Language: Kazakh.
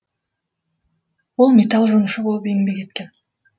ол металл жонушы болып еңбек еткен